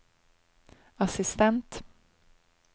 assistent